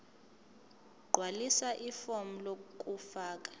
gqwalisa ifomu lokufaka